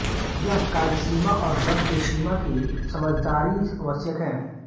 यह कालसीमा और द्रव्यसीमा की समझदारी आवश्यक है